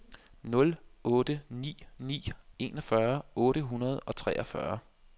nul otte ni ni enogfyrre otte hundrede og treogfyrre